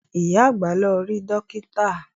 Ìyá àgbà lọ rí Dókítà